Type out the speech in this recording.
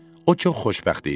O çox xoşbəxt idi.